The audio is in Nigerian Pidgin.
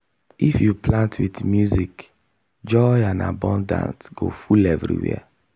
if you plant with music joy and abundance spirit go full everywhere.